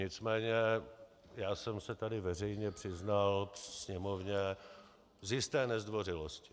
Nicméně já jsem se tady veřejně přiznal Sněmovně z jisté nezdvořilosti.